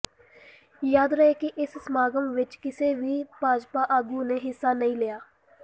ਯਾਦ ਰਹੇ ਕਿ ਇਸ ਸਮਾਗਮ ਵਿਚ ਕਿਸੇ ਵੀ ਭਾਜਪਾ ਆਗੂ ਨੇ ਹਿੱਸਾ ਨਹੀਂ ਲਿਆ